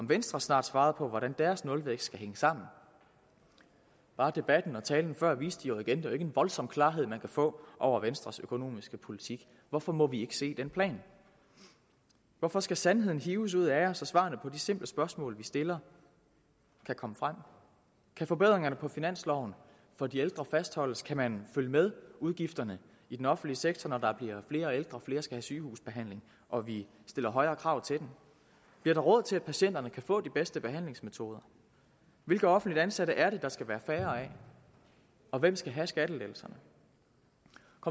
venstre snart svarer på hvordan deres nulvækstplan skal sammen bare debatten og talen før viste jo igen at det ikke en voldsom klarhed man kan få over venstres økonomiske politik hvorfor må vi ikke se den plan hvorfor skal sandheden hives ud af jer så svarene på de simple spørgsmål vi stiller kan komme frem kan forbedringerne på finansloven for de ældre fastholdes kan man følge med udgifterne i den offentlige sektor når der bliver flere ældre og flere skal have sygehusbehandling og vi stiller højere krav til den bliver der råd til at patienterne kan få de bedste behandlingsmetoder hvilke offentligt ansatte er det der skal være færre af og hvem skal have skattelettelserne